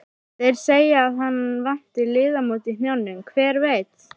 Þeir segja að hann vanti liðamót í hnjánum, hver veit?